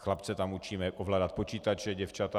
Chlapce tam učíme ovládat počítače, děvčata...